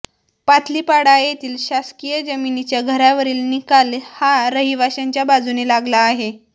पातलीपाडा येथील शासकीय जमीनीच्या घरावरील निकाल हा रहिवाशांच्या बाजूने लागला आहे